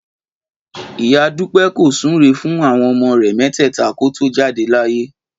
Ìyá Dúpẹ́ kò súre fún àwọn ọmọ rẹ̀ mẹ́tẹ̀ẹ̀ta kó tó jáde láyé